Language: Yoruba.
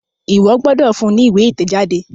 Iwọ gbódò fún ní ìwé itẹjade!